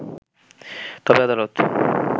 তবে আদালত